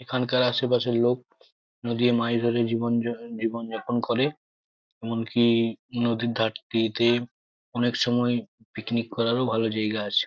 এখানকার আশেপাশের লোক নদীর মাছ ধরে জীবন যা জীবনযাপন করে এমনকি নদীর ধারটিতে অনেক সময় পিকনিক করারও ভালো জায়গা আছে।